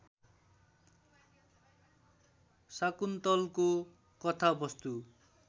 शाकुन्तलको कथावस्तु